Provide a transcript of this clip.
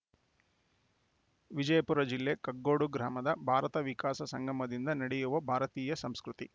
ವಿಜಯಪುರ ಜಿಲ್ಲೆ ಕಗ್ಗೋಡು ಗ್ರಾಮದ ಭಾರತ ವಿಕಾಸ ಸಂಗಮದಿಂದ ನಡೆಯುವ ಭಾರತೀಯ ಸಂಸ್ಕೃತಿ